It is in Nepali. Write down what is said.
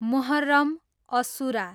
मुहर्रम, असुरा